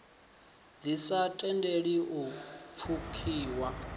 ḓi sa tendeli u pfukiwa